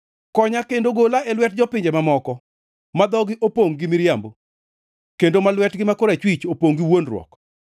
Konya kendo gola e lwet jopinje mamoko, ma dhogi opongʼ gi miriambo kendo ma lwetgi ma korachwich opongʼ gi wuondruok.